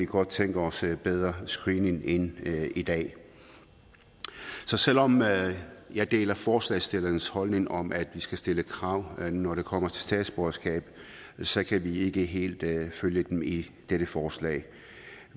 godt tænke os en bedre screening end i dag så selv om jeg deler forslagsstillernes holdning om at vi skal stille krav når det kommer til statsborgerskab så kan vi ikke helt følge dem i dette forslag